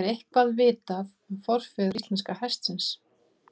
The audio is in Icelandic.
Er eitthvað vitað um forfeður íslenska hestsins?